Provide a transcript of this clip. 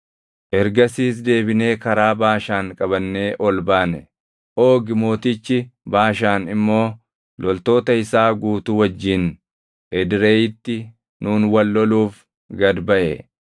Ergasiis deebinee karaa Baashaan qabannee ol baane; Oogi mootichi Baashaan immoo loltoota isaa guutuu wajjin Edreyiitti nuun wal loluuf gad baʼe.